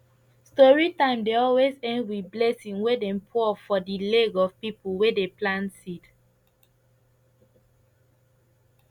story time dey always end with blessing wey dem pour for the leg of people wey dey plant seed